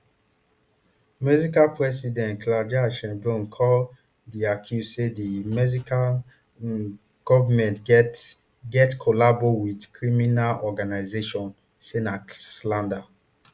mexican president claudia sheinbaum call di accuse say di mexican goment get get collabo wit crimina organisation say na slander